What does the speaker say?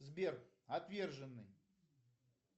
сбер отверженный